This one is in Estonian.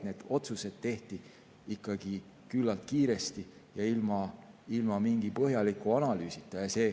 Need otsused tehti ikkagi küllalt kiiresti ja ilma mingi põhjaliku analüüsita.